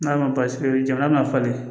N'a ma basi jamana ma falen